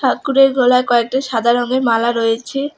ঠাকুরের গলায় কয়েকটি সাদা রঙের মালা রয়েছে।